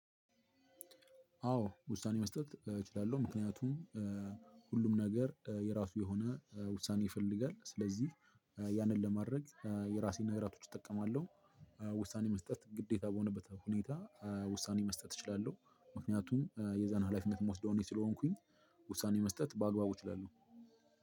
አዎ ውሳኔ መስጠት እችላለሁ ምክንያቱም ሁሉም ነገር የራሱ የሆነ ውሳኔ ይፈልጋል። ስለዚህ ያንን ለማድረግ የራሴን ነገራቶች እጠቀማለሁ። ውሳኔ መስጠት ግዴታ በሆነበት ሁኔታ ውሳኔ መስጠት እችላለሁ። ምክንያቱም የዛን ሀላፊነት የምወስደው እኔ ስለሆንኩኝ። ውሳኔ መስጠት በአግባቡ እችላለሁ።